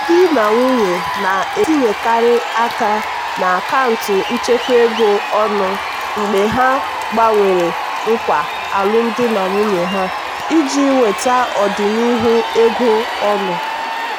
ndị di na nwunye na-etinyekarị aka na akaụntụ nchekwa ego ọnụ mgbe ha gbanwere nkwa alụmdi na nwunye ha iji nweta ọdịnihu ego ọnụ.